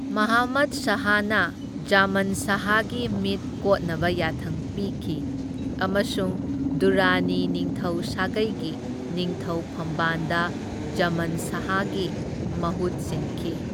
ꯃꯥꯍꯃꯗ ꯁꯍꯥꯅ ꯖꯃꯟ ꯁꯍꯥꯒꯤ ꯃꯤꯠ ꯀꯣꯠꯅꯕ ꯌꯥꯊꯪ ꯄꯤꯈꯤ, ꯑꯃꯁꯨꯡ ꯗꯨꯔꯔꯥꯅꯤ ꯅꯤꯡꯊꯧ ꯁꯥꯒꯩꯒꯤ ꯅꯤꯡꯊꯧ ꯐꯝꯕꯥꯟꯗ ꯖꯃꯟ ꯁꯥꯍꯒꯤ ꯃꯍꯨꯠ ꯁꯤꯟꯈꯤ꯫